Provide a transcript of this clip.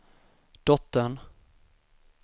dottern